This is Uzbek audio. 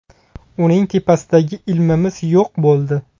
Uning tepasidagi ilmimiz yo‘q bo‘ldi.